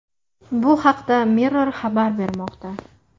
Bu haqda Mirror xabar bermoqda.